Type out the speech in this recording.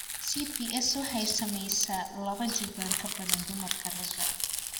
SPS waxay saamaysaa laba jibaar ka badan dumarka ragga.